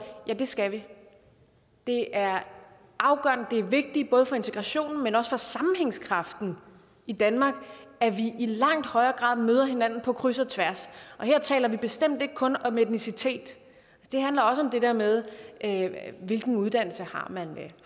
ja det skal vi det er afgørende det er vigtigt både for integrationen men også for sammenhængskraften i danmark at vi i langt højere grad møder hinanden på kryds og tværs her taler vi bestemt ikke kun om etnicitet det handler også om det der med hvilken uddannelse man